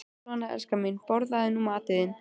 Svona, elskan mín, borðaðu nú matinn þinn.